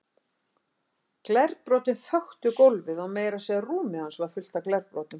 Glerbrotin þöktu gólfið og meira að segja rúmið hans var fullt af glerbrotum.